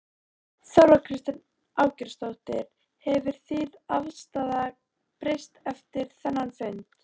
Þóra Kristín Ásgeirsdóttir: Hefur þín afstaða breyst eftir þennan fund?